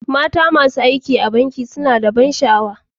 Mata masu aiki a banki suna da ban sha'awa.